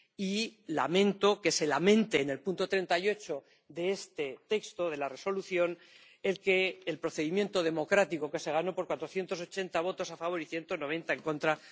Y lamento que se lamente, en el apartado 38 de este texto de la Resolución, el procedimiento democrático, que se ganó por 480 votos a favor y 190 en contra.